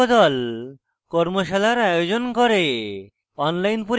কর্মশালার আয়োজন করে